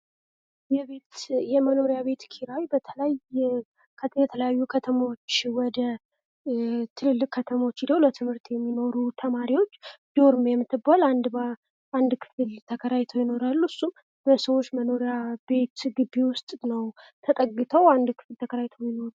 የመኖሪያ ቤት ኪራይ ወደተለያዩ ትልልቅ ከተሞች ሂደው የሚማሩ ተማሪዎች ዶርም የምትባል አንዲት ክፍል ተከራይተው ይኖራሉ። እሱም በሰዎች መኖሪያ ቤት ግቢ ውስጥ ነው ተጠግተው የሚኖሩ።